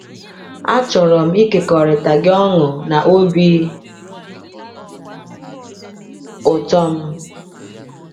“Achọrọ m ịkekọrịta gị ọṅụ na obi ụtọ m.